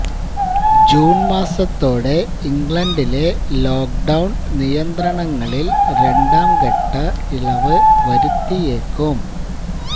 June മാസത്തോടെ ഇംഗ്ലണ്ടിലെ lockdown നിയന്ത്രണങ്ങളിൽ രണ്ടാം ഘട്ട ഇളവ് വരുത്തിയേക്കും